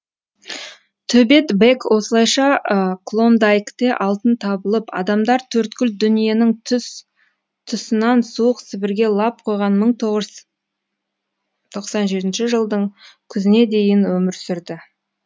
төбет бэк осылайша клондайкте алтын табылып адамдар төрткүл дүниенің тұс тұсынан суық сібірге лап қойған мың тоғыз жүз тоқсан жетінші жылдың күзіне дейін өмір сүрді